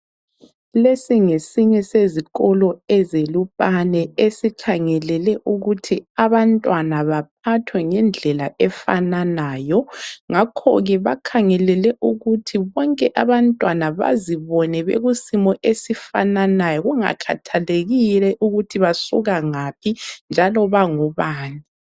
Lesi ngesinye sezikolo ezeLupane esikhangelele ukuthi abantwana baphathwe ngendlela efananayo ngakho ke bakhangelele ukuthi bonke abantwana bazibone bekusimo esifananayo kungakhathalekile ukuthi basuka ngaphi njalo bangobani.